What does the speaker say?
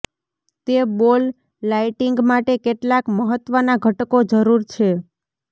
તે ball lighting માટે કેટલાક મહત્વના ઘટકો જરૂર છે